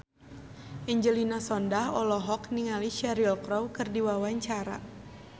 Angelina Sondakh olohok ningali Cheryl Crow keur diwawancara